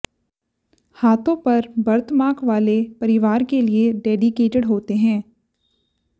हाथों पर बर्थमार्क वाले परिवार के लिए डेडिकेटेड होते हैं